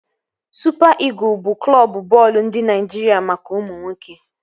Supa Ịgụl bụ Klọbu bọọlụ ndị Naịjiria maka ụmụ nwoke